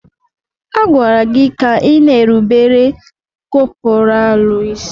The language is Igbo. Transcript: A gwara gị ka ịna-erubere kọpọraalụ isí!